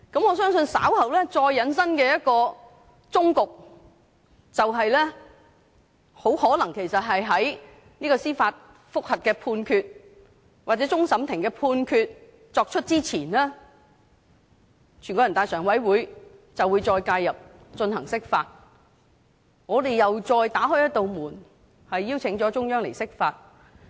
我相信稍後再引申出的一個終局，便是很可能在就這項司法覆核作出判決或終審法院作出判決前，全國人民代表大會常務委員會會再介入進行釋法，這樣我們又再打開一道門，邀請中央釋法。